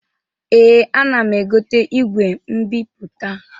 Ee, ana m egote igwe mbipụta.